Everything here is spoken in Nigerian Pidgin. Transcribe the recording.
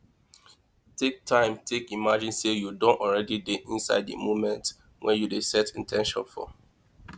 take time take imagine sey you don already dey inside di moment wey you dey set in ten tion for